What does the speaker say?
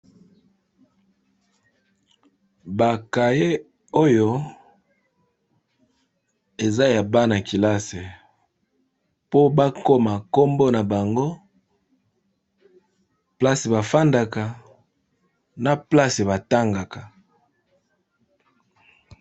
Bakaye oyo eza ya bana-kilase po bakoma nkombo na bango place bafandaka na place batangaka.